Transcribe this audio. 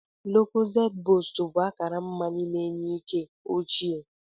Lucozade boost bụ akara mmanya na-enye ike ochie.